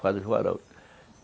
Faz os varais